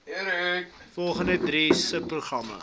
volgende drie subprogramme